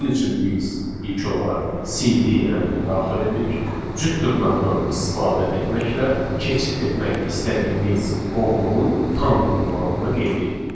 Bunun üçün biz ilk olaraq CD əmrini daxil edirik, cüt dırnaqdan istifadə etməklə keçid etmək istədiyimiz qovluğun tam ünvanını qeyd eləyirik.